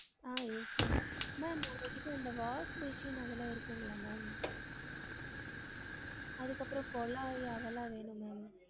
ஆஹ் yes ma'am ma'am உங்க கிட்ட இந்த wash basin அது எல்லாம் இருக்குங்கலா ma'am அதுக்கு அப்ரோ குழாய் அதெல்லாம் வேணும் ma'am